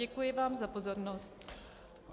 Děkuji vám za pozornost.